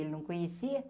Ele não conhecia.